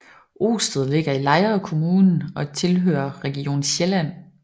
Osted ligger i Lejre Kommune og tilhører Region Sjælland